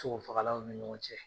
Sogofagalaw ni ɲɔgɔn cɛ